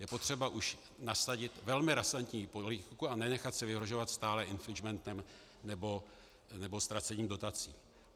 Je potřeba už nasadit velmi razantní politiku a nenechat si vyhrožovat stále infringementem nebo ztracením dotací.